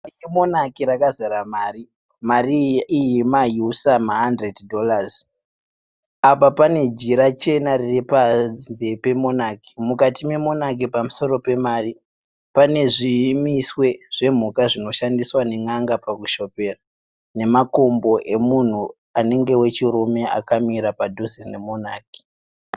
Monaki razara mari. Mari iyi mayusa mahandireti dhorazi. Apa panejira chena riripanze pemonaki. Mukati memonaki pamusoro pamari, pane zvimiswe zvemhuka zvinoshandiswa nen'anga pakushopera. Nemakumbo emunhu anenge wechirume akamira padhuze nemonaki.